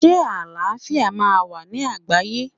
Ṣé àlàáfíà máa wà ní àgbáyé?